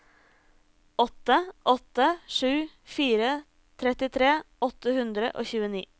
åtte åtte sju fire trettitre åtte hundre og tjueni